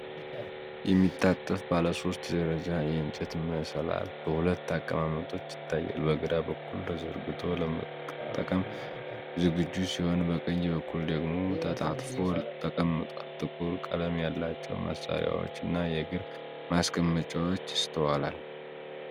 የሚታጠፍ ባለ ሶስት ደረጃ የእንጨት መሰላል በሁለት አቀማመጦች ይታያል። በግራ በኩል ተዘርግቶ ለመጠቀም ዝግጁ ሲሆን በቀኝ በኩል ደግሞ ተጣጥፎ ተቀምጧል። ጥቁር ቀለም ያላቸው ማሰሪያዎች እና የእግር ማስቀመጫዎች ይስተዋላል።